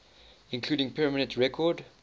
including permanent record